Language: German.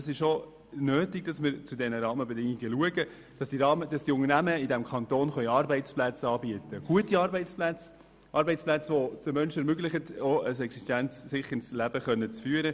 Es ist notwendig, dass wir für diese Rahmenbedingungen schauen und den Unternehmen in unserem Kanton gute Arbeitsplätze mit entsprechenden Löhnen anbieten können, die es den Menschen ermöglichen, ein existenzsicherndes Leben zu führen.